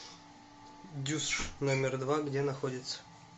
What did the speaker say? дюсш номер два где находится